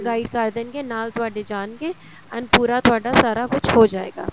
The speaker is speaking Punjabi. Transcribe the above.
guide ਕ਼ਰ ਦੇਣਗੇ ਨਾਲ ਤੁਹਾਡੇ ਜਾਣਗੇ and ਪੂਰਾ ਤੁਹਾਡਾ ਸਾਰਾ ਕੁੱਝ ਹੋ ਜਾਏਗਾ